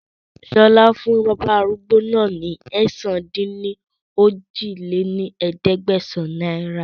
Sọlá fún bàbá arúgbó náà ni ẹ̀sán-dín-ní-ojì lé ní ẹ̀ẹ́dẹ́gbẹ́sán náírà